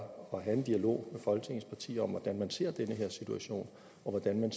at have en dialog med folketingets partier om hvordan man ser den her situation og hvad man